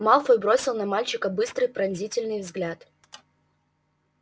малфой бросил на мальчика быстрый пронзительный взгляд